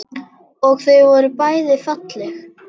Og þau voru bæði falleg.